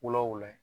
Wula wula